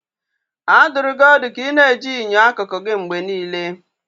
A dụrụ gị ọdụ ka ị na-eji enyo akụkụ gị mgbe niile.